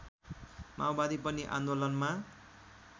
माओवादी पनि आन्दोलनमा